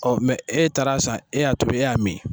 Ɔ mɛ e taar'a san e y'a tobi e y'a mi